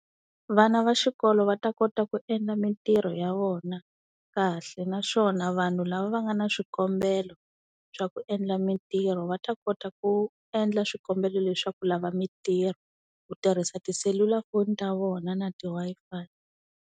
Vana va xikolo va ta kota ku endla mintirho ya vona kahle, naswona vanhu lava va nga na swikombelo swa ku endla mintirho va ta kota ku endla swikombelo le swa ku lava mintirho, ku tirhisa tiselulafoni ta vona na ti-Wi-Fi.